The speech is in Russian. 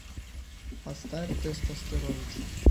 поставь тестостеровича